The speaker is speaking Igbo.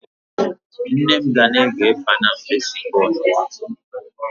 Nne m ga na-ege panam Percy Paul songs n'ụtụtụ a